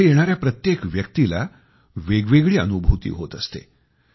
इथे येणाऱ्या प्रत्येक व्यक्तीला वेगवेगळी अनुभूती होत असते